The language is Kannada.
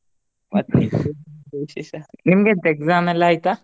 ನಿಮ್ಗೆ ಎಂತ exam ಎಲ್ಲಾ ಆಯ್ತಾ?